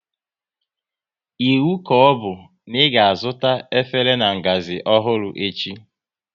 Iwu ka ọbụ na ị ga azụta efere na-ngazi ọhụrụ echi